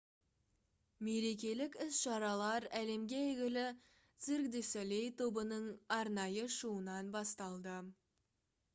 мерекелік іс-шаралар әлемге әйгілі «cirque du soleil» тобының арнайы шоуынан басталды